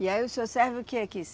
E aí o senhor serve o quê aqui?